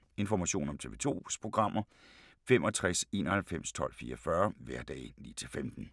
Information om TV 2's programmer: 65 91 12 44, hverdage 9-15.